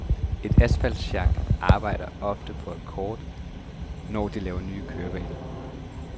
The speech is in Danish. Et asfaltsjak arbejder ofte på akkord, når det laver nye kørebaner.